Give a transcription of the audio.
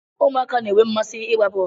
Ụmụaka na-enwe mmasị ịgba bọl